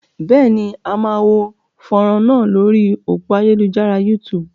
Bẹ́ẹ̀ ni, a máa wo fánrán náà lórí òpó ayélujára YouTube.